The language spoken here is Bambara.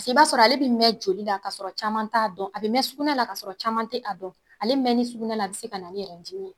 I b'a sɔrɔ ale bi mɛ joli la kasɔrɔ caman t'a dɔn. A be mɛ sugunɛ la kasɔrɔ caman te a dɔn. Ale mɛni sugunɛ la a bi se kana ni dimi ye.